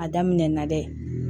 A daminɛna dɛ